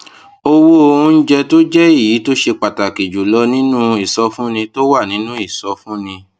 owó oúnjẹ tó jẹ èyí tó ṣe pàtàkì jù lọ nínú ìsọfúnni tó wà nínú ìsọfúnni